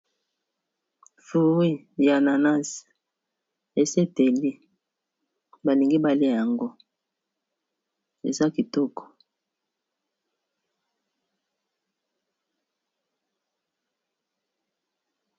Furu ya nanas eseteli balingi bale yango eza kitoko.